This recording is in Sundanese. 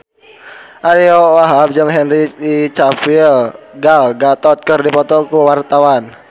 Ariyo Wahab jeung Henry Cavill Gal Gadot keur dipoto ku wartawan